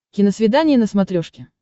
киносвидание на смотрешке